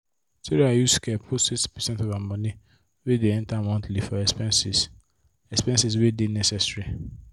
sarah use care put 60 percent of her money wey dey enter monthly for expenses expenses wey dey necessary.